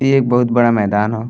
इ एक बहुत बड़ा मैदान ह।